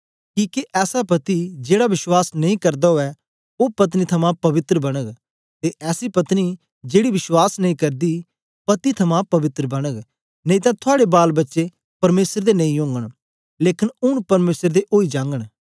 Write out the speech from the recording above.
किके ऐसा पति जेड़ा विश्वास नेई करदा उवै ओ पत्नी थमां पवित्र बनग ते ऐसी पत्नी जेड़ी विश्वास नेई करदी पति थमां पवित्र बनग नेई तां थुआड़े बालबच्चे परमेसर दे नेई ओगन लेकन ऊन परमेसर दे ओई जागन